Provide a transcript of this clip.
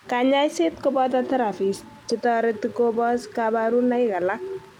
Kanyaiset koboto therapies chetoreti kobos kabarunoik alak